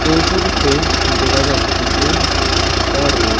এই ছবিতে দেখা যাচ্ছে যে একতা রোড ।